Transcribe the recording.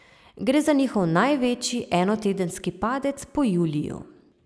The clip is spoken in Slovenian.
Gre za njihov največji enotedenski padec po juliju.